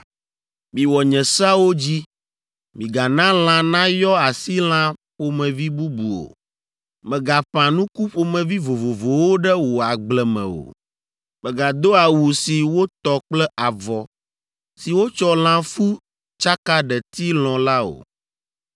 “ ‘Miwɔ nye seawo dzi. “ ‘Migana lã nayɔ asi lã ƒomevi bubu o. “ ‘Mègaƒã nuku ƒomevi vovovowo ɖe wò agble me o. “ ‘Mègado awu si wotɔ kple avɔ si wotsɔ lãfu tsaka ɖeti lɔ̃ la o.